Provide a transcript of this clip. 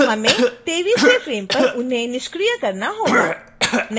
हमें 23वें फ्रेम पर उन्हें निष्क्रिय करना होगा